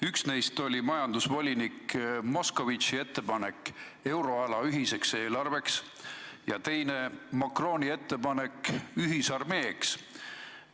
Üks neist oli majandusvolinik Moskovici ettepanek euroala ühise eelarve kohta ja teine Macroni ettepanek ühisarmee loomise kohta.